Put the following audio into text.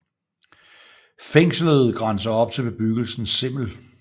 Fængslet grænser op til bebyggelsen Simmel